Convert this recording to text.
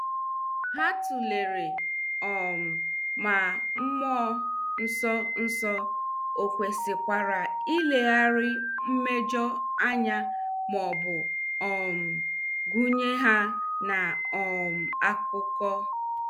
Ha tulere um ma mmụọ nsọ nsọ ọ kwesịkwara ileghara mmejọ anya maọbụ um gunye ha n' um akụkọ.